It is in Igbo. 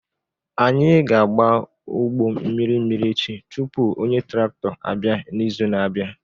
Anyị ga-agba ugbo mmiri mmiri echi tupu onye traktọ abịa n'izu na-abịa.